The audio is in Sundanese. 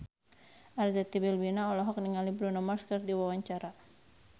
Arzetti Bilbina olohok ningali Bruno Mars keur diwawancara